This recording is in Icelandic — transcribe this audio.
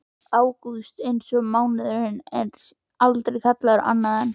August eins og mánuðurinn en sé aldrei kallaður annað en